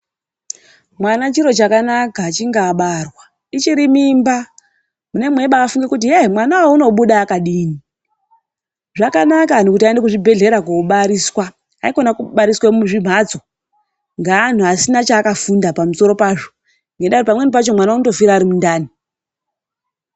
Mwana chiro chakanaka achinge abarwa. Ichiri mimba munenge meingofunga kuti mwana uyu anobuda akadini. Zvakanaka kuti antu aende kuzvibhedhlera kobariswa, haikona kubariswa muzvimhatso ngeantu asina chakafunda pamusoro pazvo, ngendaa yekuti pamweni pacho mwana anofira ari mundani.